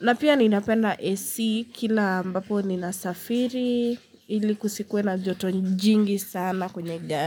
Na pia ninapenda AC kila ambapo ninasafiri ili kusikuwe na joto njingi sana kwenye gani.